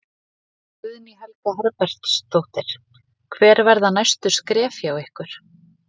Guðný Helga Herbertsdóttir: Hver verða næstu skref hjá ykkur?